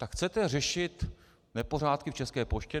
Tak chcete řešit nepořádky v České poště?